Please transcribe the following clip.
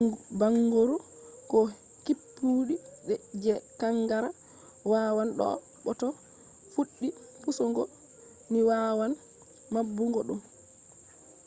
bangoru ko kippudi je kankara wawan do’a bo to fuɗɗi pusugo ni wawan maɓɓugo ɗum